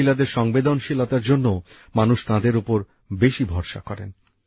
মহিলাদের সংবেদনশীলতার জন্যও মানুষ তাঁদের ওপর বেশি ভরসা করেন